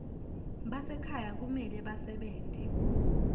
basekhaya kumele basebente